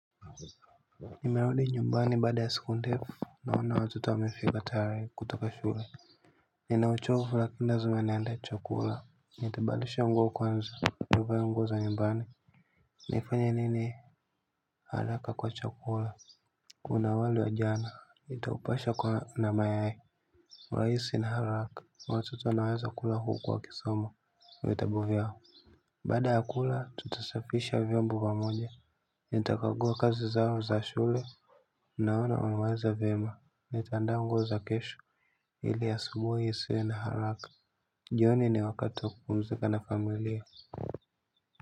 Nimerudi nyumbani baada ya siku ndefu naona watoto wamefika tayari kutoka shule. Ninauchovu lakini lazima niendee chakula. Nitabadilisha nguo kwanza nivae nguo za nyumbani. Nifanya nini haraka kwa chakula. Kuna wali wa jana itaupasha kwa na mayai rahisi na haraka watoto wanaweza kula huku wakisoma vitabu vyao, baada ya kula tutasafisha vyombo pamoja. Nitakagua kazi zao za shule. Naona unawaza vyema, nitaandaa nguo za kesho ili asubuhi isiwe na haraka jioni ni wakati kupumzika na familia.